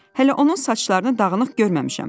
Hələ onun saçlarını dağınıq görməmişəm.